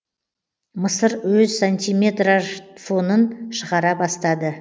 мысыр өз сантиметраж фонын шығара бастады